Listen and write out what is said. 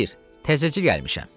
Xeyr, təzəcə gəlmişəm.